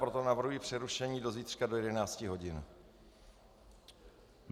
Proto navrhuji přerušení do zítřka do 11 hodin.